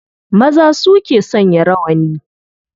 Maza su ke sanya rawani.